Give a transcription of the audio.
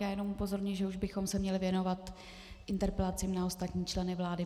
Já jenom upozorňuji, že už bychom se měli věnovat interpelacím na ostatní členy vlády.